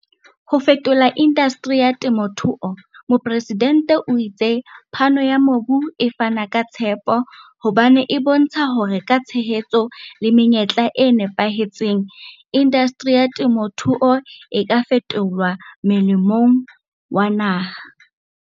Ho fetola indasteri ya temothuo Mopresidente o itse phano ya mobu e fana ka tshepo hobane e bontsha hore ka tshehetso le menyetla e napahetseng, indasteri ya temothuo e ka fetolwa molemong wa naha.